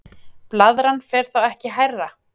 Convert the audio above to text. blaðran fer þá ekki hærra